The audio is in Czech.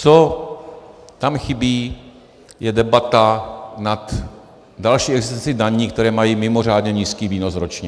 Co tam chybí, je debata nad další existencí daní, které mají mimořádně nízký výnos ročně.